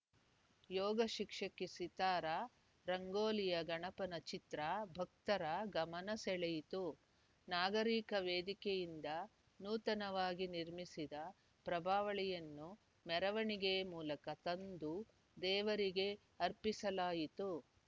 ಯೋಗಶಿಕ್ಷಕಿ ಸಿತಾರಾ ರಂಗೋಲಿಯ ಗಣಪನ ಚಿತ್ರ ಭಕ್ತರ ಗಮನಸೆಳೆಯಿತು ನಾಗರಿಕ ವೇದಿಕೆಯಿಂದ ನೂತನವಾಗಿ ನಿರ್ಮಿಸಿದ ಪ್ರಭಾವಳಿಯನ್ನು ಮೆರವಣೆಗೆ ಮೂಲಕ ತಂದು ದೇವರಿಗೆ ಅರ್ಪಿಸಲಾಯಿತು